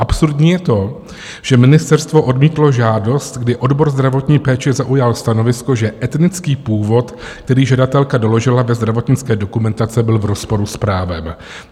Absurdní je to, že ministerstvo odmítlo žádost, kdy odbor zdravotní péče zaujal stanovisko, že etnický původ, který žadatelka doložila ve zdravotnické dokumentaci, byl v rozporu s právem.